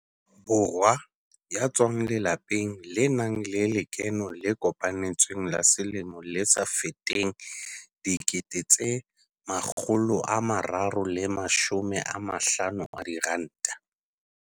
Borwa ya tswang lelapeng le nang le lekeno le kopanetsweng la selemo le sa feteng R350 000.